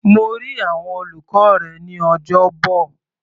Mo rí àwọn olùkọ́ rẹ ní Ọjọ́bọ̀.